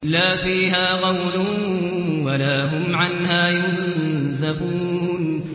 لَا فِيهَا غَوْلٌ وَلَا هُمْ عَنْهَا يُنزَفُونَ